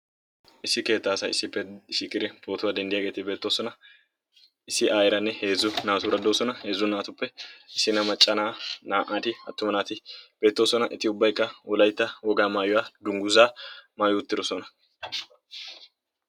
Issi keettaa asay issippe shiiqqidi pootuwaa denddiyaageti beettosona. issi ayeeranne heezzu naaturaa de"oosona. heezzu naatuppe issina macca na"a, na'ati attuma naati beettoosona eti ubbaykka wollaytta woga mayuwa dungguzaa maayi uttirosona.